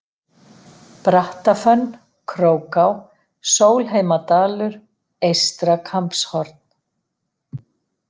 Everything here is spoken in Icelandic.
Brattafönn, Króká, Sólheimadalur, Eystra-Kambshorn